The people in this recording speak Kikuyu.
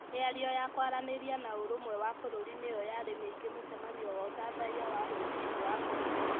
Mĩario ya kwaranĩria na ũrũmwe wa bũrũri nĩ yo yarĩ mĩingĩ mũcemanio wa ũthathaiya wa rũcinĩ wa bũrũri .